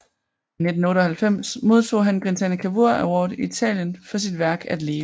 I 1998 modtog han Grinzane Cavour Award i Italien for sit værk At Leve